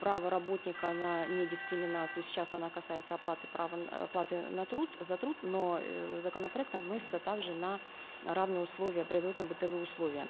право работника на недискриминацию сейчас она касается оплаты права оплаты на труд за труд но э законопроектом вносится также на равные условия производственно бытовые условия